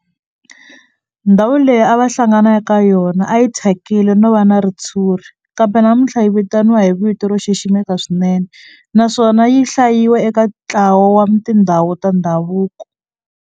Ndhawu leyi a va hlangana ka yona a yi thyakile no va na ritshuri kambe namuntlha yi vitaniwa hi vito ro xiximeka swinene naswona yi hlayiwa eka ntlawa wa tindhawu ta ndhavuko.